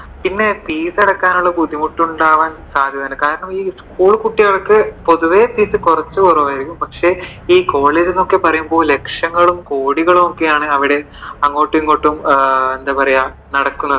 പിന്ന fees അടക്കാനുള്ള ബുദ്ധിമുട്ട് കൊണ്ട് ആവാൻ സാധ്യതയുണ്ട്. കാരണം ഈ school കുട്ടികൾക്ക് പൊതുവെ ഈ fees കുറച്ച്കുറവായിരിക്കും പക്ഷെ ഈ college എന്നൊക്കെ പറയുമ്പോ ലക്ഷങ്ങളും കോടികളും ഒക്കെ ആണ് അവിടെ അങ്ങോട്ടും ഇങ്ങോട്ടും നടക്കുന്നത്.